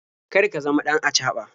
Kar ka zama ɗan acaɓa.